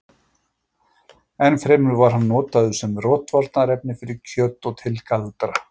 enn fremur var hann notaður sem rotvarnarefni fyrir kjöt og til galdra